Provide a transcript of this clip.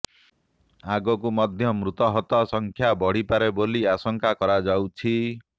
ଆଗକୁ ମଧ୍ୟ ମୃତାହତ ସଂଖ୍ୟା ବଢିପାରେ ବୋଲି ଆଶଙ୍କା କରାଯାଉଛି